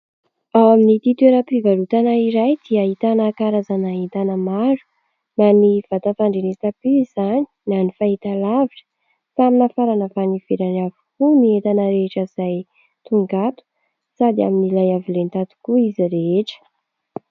Ao amin'ity toeram-pivarotana iray dia ahitana karazana entana maro na ny vata fandrenesam-peo izany na ny fahitalavitra. Samy nafarana avy any ivelany avokoa ny entana rehetra izay tonga ato sady amin'ilay avo lenta tokoa izy rehetra.